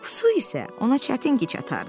Su isə ona çətin ki çatardı.